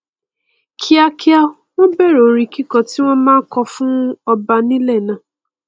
kíákíá wọn bẹrẹ orin kíkọ tí wọn máa n kọ fún ọba ní ilẹ náà